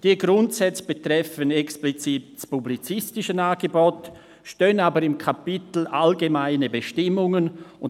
Diese Grundsätze betreffen explizit das publizistische Angebot, stehen jedoch im Kapitel «Allgemeine Bestimmungen».